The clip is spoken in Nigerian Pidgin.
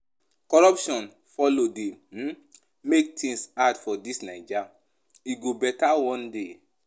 Corruption folo dey um make tins hard for dis Naija, e go beta one day.